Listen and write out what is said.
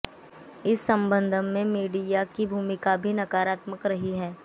इस संबंध में मीडिया की भूमिका भी नकारात्मक रही है